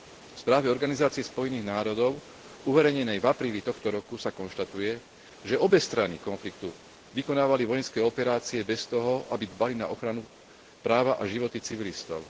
V správe Organizácie Spojených národov uverejnenej v apríli tohto roku sa konštatuje, že obe strany konfliktu vykonávali vojenské operácie bez toho, aby dbali na ochranu práva a životy civilistov.